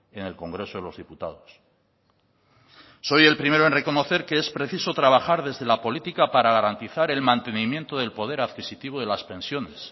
en el congreso de los diputados soy el primero en reconocer que es preciso trabajar desde la política para garantizar el mantenimiento del poder adquisitivo de las pensiones